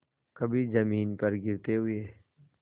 कभी जमीन पर गिरते हुए